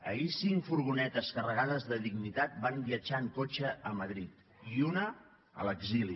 ahir cinc furgonetes carregades de dignitat van viatjar en cotxe a madrid i una a l’exili